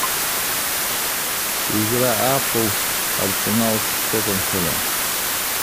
игра апл арсенал с тоттенхэмом